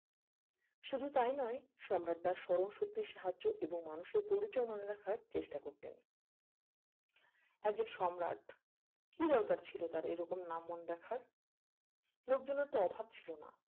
শুধু তাই নয় সম্রাট তার স্মরণ শক্তির সাহায্য এবং মানুষের পরিচয় মনে রাখার চেষ্টা করতেন একজন সম্রাট কি দরকার ছিল তার এরকম নাম মনে রাখার লোকজনের তো অভাব ছিল না